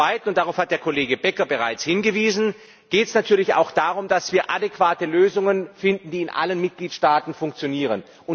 Zum Zweiten darauf hat der Kollege Becker bereits hingewiesen geht es natürlich auch darum, dass wir adäquate Lösungen finden, die in allen Mitgliedstaaten funktionieren.